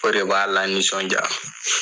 O de b'a la nisɔndiya.